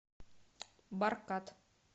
баркад